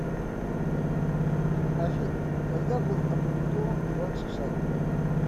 афина когда был опубликован иван сусанин